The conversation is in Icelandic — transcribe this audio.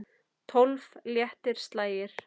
Tólf léttir slagir.